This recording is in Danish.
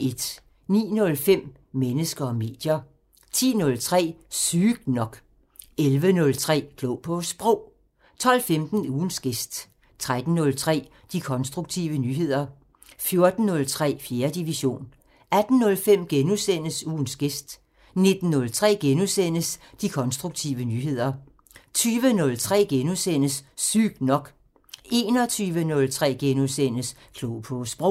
09:05: Mennesker og medier 10:03: Sygt nok 11:03: Klog på Sprog 12:15: Ugens gæst 13:03: De konstruktive nyheder 14:03: 4. division 18:05: Ugens gæst * 19:03: De konstruktive nyheder * 20:03: Sygt nok * 21:03: Klog på Sprog *